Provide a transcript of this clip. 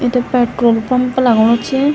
इत petrol pump लगणु च।